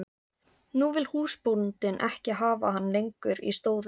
Nú vill húsbóndinn ekki hafa hann lengur í stóði.